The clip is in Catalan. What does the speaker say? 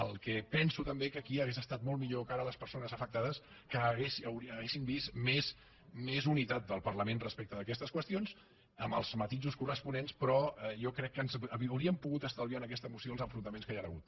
el que penso també és que aquí hauria estat molt millor que ara les persones afectades haguessin vist més unitat del parlament respecte d’aquestes qüestions amb els matisos corresponents però jo crec que ens hauríem pogut estalviar en aquesta moció els enfrontaments que hi han hagut